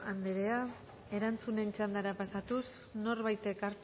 anderea erantzunen txandara pasatuz norbaitek